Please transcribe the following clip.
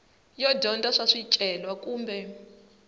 yo dyondza swa swicelwa kumbe